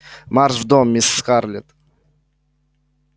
марш в дом мисс скарлетт